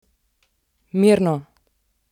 Mirno!